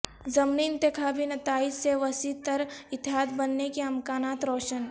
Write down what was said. ضمنی انتخابی نتائج سے وسیع تر اتحاد بننے کے امکانات روشن